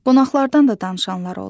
Qonaqlardan da danışanlar oldu.